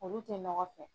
Olu tɛ nɔgɔ fɛ